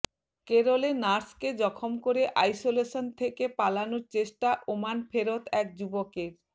কেরলে নার্সকে জখম করে আইসোলেশন থেকে পালানোর চেষ্টা ওমান ফেরত এক যুবকের